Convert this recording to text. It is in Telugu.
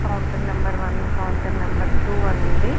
Counter number one counter number two అని ఉంది .